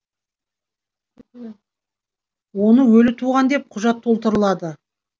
оны өлі туған деп құжат толтырылады